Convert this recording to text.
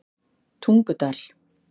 Tungudal